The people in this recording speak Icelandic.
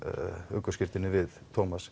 ökuskírteinið við